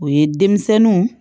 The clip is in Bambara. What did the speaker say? O ye denmisɛnninw